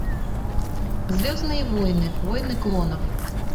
звездные войны войны клонов